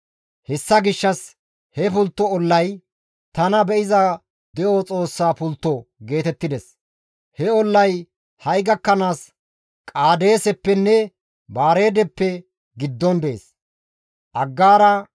Hessa gishshas he pultto ollay, «Tana Be7iza De7o Xoossa pultto» geetettides; he ollay ha7i gakkanaas Qaadeeseppenne Baareedeppe giddon dees. Maccassi haath ollafe duuqqishin